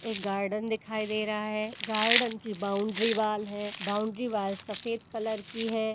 एक गार्डन दिखाई दे रहा है गार्डन की बाउंड्री वॉल है बाउंड्री वॉल सफेद कलर की है।